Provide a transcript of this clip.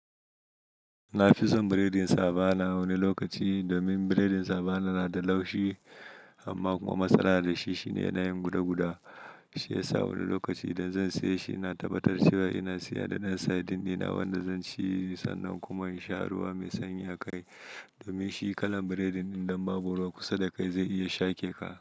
Na fi son biredin savana wani lokaci domin biredin savana na da laushi amma kuma matsala na da shi shine yana yin guda guda. Shi yasa wani lokaci idan zan siya shi, na tabbatar cewa ina siya da ɗan sardine ɗina wanda zan ci sannan kuma in sha ruwa mai sanyi a kai. Domin shi kalan biredin idan babu ruwa kusa da kai zai iya shake ka.